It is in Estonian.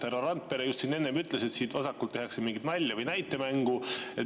Härra Randpere just enne ütles, et siin vasakul tehakse mingit nalja või näitemängu.